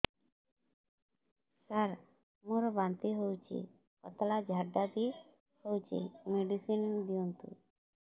ସାର ମୋର ବାନ୍ତି ହଉଚି ପତଲା ଝାଡା ବି ହଉଚି ମେଡିସିନ ଦିଅନ୍ତୁ